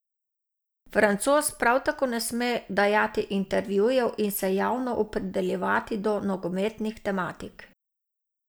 Francoz prav tako ne sme dajati intervjujev in se javno opredeljevati do nogometnih tematik.